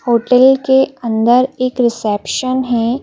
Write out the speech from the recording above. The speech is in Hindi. होटल के अंदर एक रिसेप्शन है।